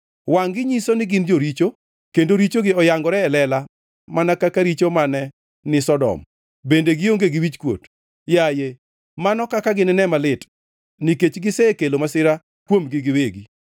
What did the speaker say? Wangʼ-gi nyiso ni gin joricho kendo richogi oyangore e lela mana ka richo mane ni Sodom, bende gionge gi wichkuot. Yaye, mano kaka ginine malit nikech gisekelo masira kuomgi giwegi.